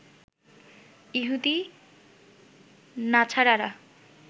ইহুদি নাছারারা